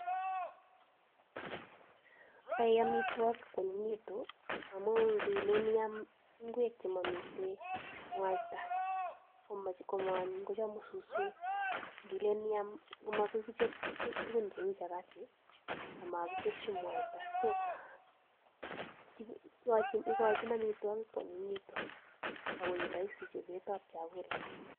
Yoi amitwogik konanyinyigitu amun nilen iam ngwek chemomiten mwaita komoanyiny kochamu suswek. Nilen iam, komagoi kichob tuguk cheu chapati amakiteshi mwaita so igochin amitwogik koanyinyegitu agoi roisi chobetab chakula.